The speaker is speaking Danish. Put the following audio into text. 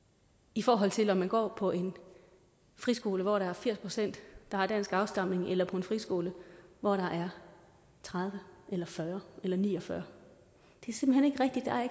i forhold til om man går på en friskole hvor der er firs pct der har dansk afstamning eller på en friskole hvor der er tredive eller fyrre eller ni og fyrre